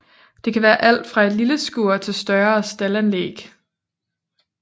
Det kan være alt fra et lille skur til større staldanlæg